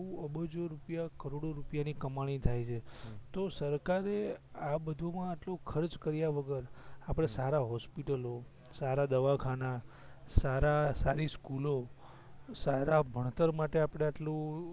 અબજો રૂપિયા કરોડો રૂપિયા ની કમાણી થાય છે હમ તો સરકારએ આ બધો માં આટલો ખર્ચ કરીયા વગર આપડે સારા હોસ્પિટલો સારા દવાખાના સારા સારી સ્કૂલો સારા ભણતર માટે આપડે આટલું